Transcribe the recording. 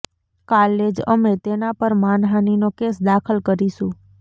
કાલે જ અમે તેના પર માનહાનિનો કેસ દાખલ કરીશું